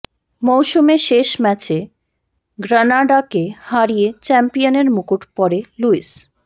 মৌসুমে শেষ ম্যাচে গ্রানাডাকে হারিয়ে চ্যাম্পিয়নের মুকুট পড়ে লুইস